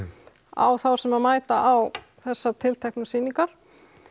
á þá sem að mæta á þessar tilteknu sýningar